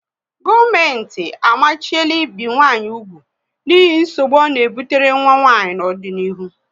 Gọọmenti amachiela ibi nwanyị úgwù n'ihi nsogbu ọ na ebutere nwa nwanyị n'ọdịnihu